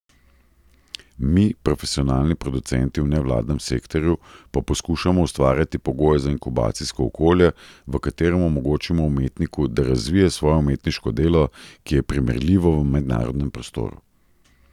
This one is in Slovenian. Mi, profesionalni producenti v nevladnem sektorju, pa poskušamo ustvarjati pogoje za inkubacijsko okolje, v kateremu omogočimo umetniku, da razvije svoje umetniško delo, ki je primerljivo v mednarodnem prostoru.